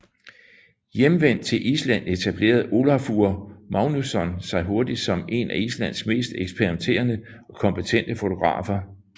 Hjemvendt til Island etablerede Ólafur Magnússon sig hurtigt som en af Islands mest eksperimenterende og kompetente fotografer